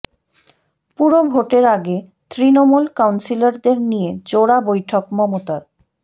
পুর ভোটের আগে তৃণমূল কাউন্সিলরদের নিয়ে জোড়া বৈঠক মমতার